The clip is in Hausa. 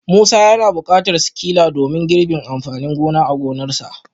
Musa yana bukatar sikila gobe domin girbin amfanin gona a gonarsa